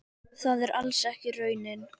Það er alls ekki raunin.